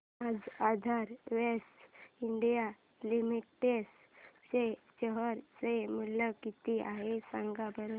आज Aadhar ventures India limited चे share चे मूल्य किती आहे सांगा बरं